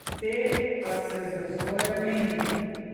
Te pa se z razvojem menjajo.